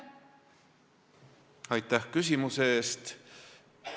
Aitäh küsimuse eest!